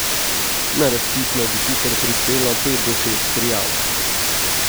Na razpis naj bi sicer prispelo pet do šest prijav.